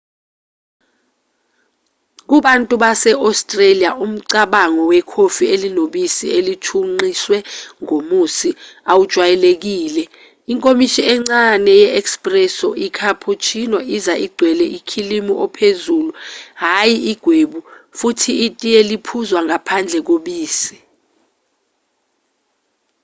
kubantu base-australia umcabango wekhofi 'elinobisi oluthunqiswe ngomusi' awujwayelekile. inkomishi encane 'yi-espresso' i-cappuccino iza igcwele ukhilimu ophezulu hhayi ugwebu futhi itiye liphuzwa ngaphandle kobisi